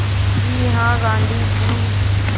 जी हाँ गाँधी जी